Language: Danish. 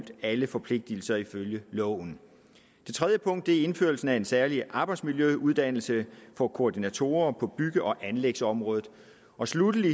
alle forpligtelser ifølge loven det tredje punkt er indførelsen af en særlig arbejdsmiljøuddannelse for koordinatorer på bygge og anlægsområdet og sluttelig